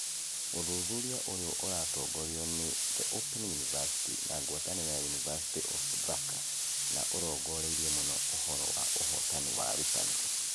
Ũthuthuria ũyũ ũratongorio nĩ The Open University na ngwatanĩro ya University of Dhaka na ũrongoreirie mũno ũhoro wa ũhotani wa arutani.